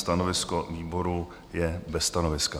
Stanovisko výboru je bez stanoviska.